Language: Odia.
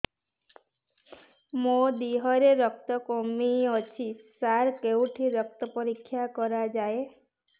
ମୋ ଦିହରେ ରକ୍ତ କମି ଅଛି ସାର କେଉଁଠି ରକ୍ତ ପରୀକ୍ଷା କରାଯାଏ